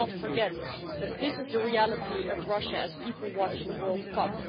Let's not forget that this is the reality of Russia as people watch the World Cup.